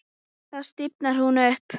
Þá stífnar hún upp.